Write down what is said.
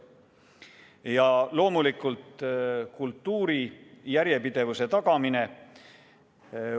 Ja loomulikult kultuuri järjepidevuse tagamine.